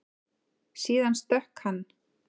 Síðan stökk hann.